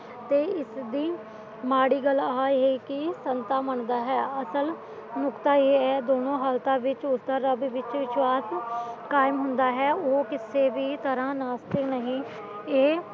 ਤੇ ਇਸਦੀ ਮਾੜੀ ਗੱਲ ਆਹਾ ਹੈ ਕੀ ਸੰਗਤਾ ਮੰਨਦਾ ਹੈ ਅਸਲ ਨੁਕਤਾ ਇਹ ਹੈ ਦੋਹਾਂ ਹਾਲਾਤ ਵਿੱਚ ਉਸਦਾ ਰੱਬ ਵਿੱਚ ਵਿਸ਼ਵਾਸ ਕਾਇਮ ਹੁੰਦਾ ਹੈ ਉਹ ਕਿਸੇ ਵੀ ਤਰ੍ਹਾਂ ਨਾਸਤਿਕ ਨਹੀਂ ਇਹ